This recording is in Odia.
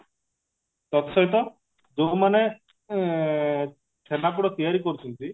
ତତ୍ ସହିତ ଯାଉମାନେ ଏ ଛେନାପୋଡା ତିଆରି କରୁଛନ୍ତି